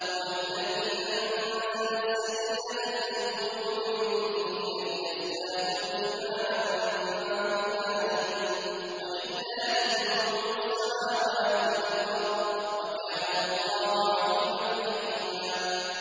هُوَ الَّذِي أَنزَلَ السَّكِينَةَ فِي قُلُوبِ الْمُؤْمِنِينَ لِيَزْدَادُوا إِيمَانًا مَّعَ إِيمَانِهِمْ ۗ وَلِلَّهِ جُنُودُ السَّمَاوَاتِ وَالْأَرْضِ ۚ وَكَانَ اللَّهُ عَلِيمًا حَكِيمًا